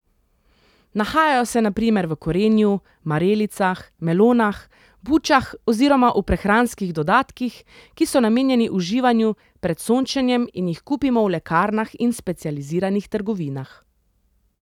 Nahajajo se na primer v korenju, marelicah, melonah, bučah oziroma v prehranskih dodatkih, ki so namenjeni uživanju pred sončenjem in jih kupimo v lekarnah in specializiranih trgovinah.